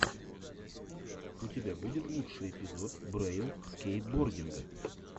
у тебя будет лучший эпизод брэйл скейтбординга